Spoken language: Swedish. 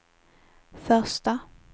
första